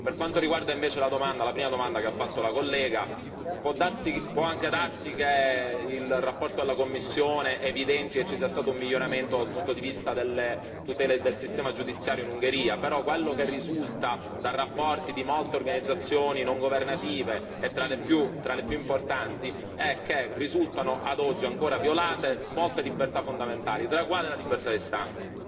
Per quanto riguarda invece la prima domanda che ha fatto la collega, può anche darsi che il rapporto della Commissione evidenzi e ci sia stato un miglioramento dal punto di vista delle tutele e del sistema giudiziario in Ungheria, però quello che risulta da rapporti di molte organizzazioni non governative, tra esse le più importanti, è che risultano a oggi ancora violate molte libertà fondamentali, tra le quali la libertà di stampa.